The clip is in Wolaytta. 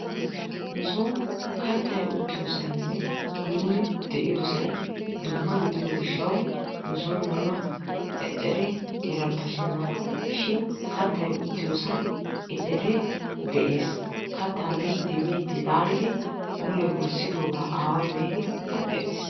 Nusoon kattay uttiyoosaynne nuuni uttiyoosay dumma gidiyoo giishawu nusoon nuna eceree erabasheenna. Shin kaatay uttiyoosan eceree de'ees. Kaattaa miidi miidi laallidi mule wurssidoogaa aaway be'idi keehin hanqqettiis.